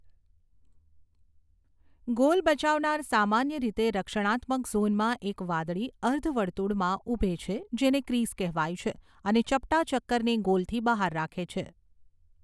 Goal બચાવનાર સામાન્ય રીતે રક્ષણાત્મક ઝોનમાં એક વાદળી, અર્ધ વર્તુળમાં ઊભો રહે છે જેને ક્રિઝ કહેવાય છે અને ચપટા ચક્કરને ગોલથી બહાર રાખે છે.